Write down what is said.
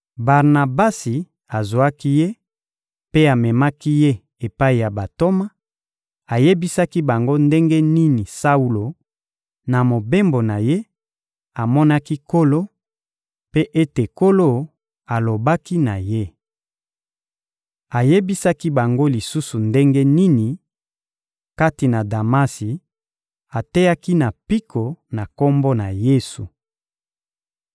Barnabasi azwaki ye mpe amemaki ye epai ya bantoma; ayebisaki bango ndenge nini Saulo, na mobembo na ye, amonaki Nkolo, mpe ete Nkolo alobaki na ye. Ayebisaki bango lisusu ndenge nini, kati na Damasi, ateyaki na mpiko na Kombo na Yesu.